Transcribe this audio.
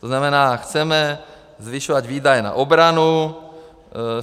To znamená, chceme zvyšovat výdaje na obranu.